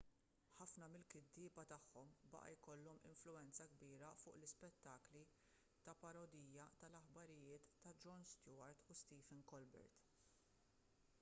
ħafna mill-kittieba tagħhom baqa' jkollhom influwenza kbira fuq l-ispettakli ta' parodija tal-aħbarijiet ta' jon stewart u stephen colbert